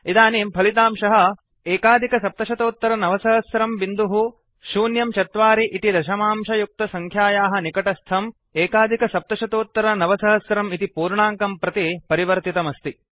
इदानीं फलितांशः 970104 इति दशमांशयुक्तसंख्यायाः निकटस्थं 9701 इति पूर्णाङ्कं प्रति परिवर्तितमस्ति